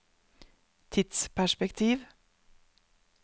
tidsperspektiv